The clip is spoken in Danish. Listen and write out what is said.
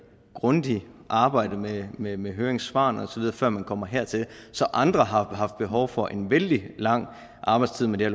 grundigt arbejde med med høringssvarene osv før man kommer hertil så andre har haft behov for en vældig lang arbejdstid med det